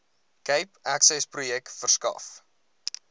cape accessprojek verskaf